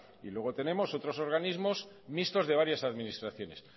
y luego tenemos otros organismos mixtos de varias administraciones